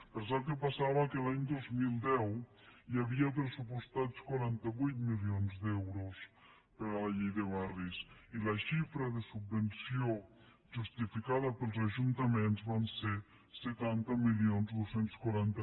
però sap què passava que l’any dos mil deu hi havia pressu·postats quaranta vuit milions d’euros per a la llei de barris i la xifra de subvenció justificada pels ajuntaments van ser setanta mil dos cents i quaranta